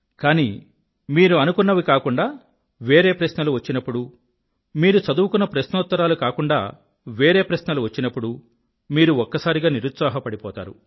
కానీ మీరు అనుకున్నవి కాకుండా వేరే ప్రశ్నలు వచ్చినప్పుడు మీరు చదువుకున్న ప్రశ్నోత్తరాలు కాకుండా వేరే ప్రశ్నలు వచ్చినప్పుడు మీరు ఒక్కసారిగా నిరుత్సాహపడిపోతారు